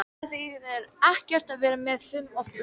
Það þýðir ekkert að vera með fum og læti.